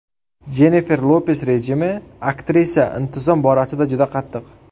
Jennifer Lopes rejimi Aktrisa intizom borasida juda qattiq.